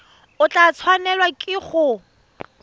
o tla tshwanelwa ke go